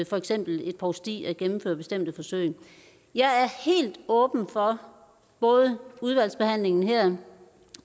for eksempel et provsti at gennemføre bestemte forsøg jeg er helt åben for både i udvalgsbehandlingen her